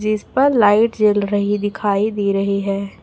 जिस पर लाइट जल रही दिखाई दे रही है।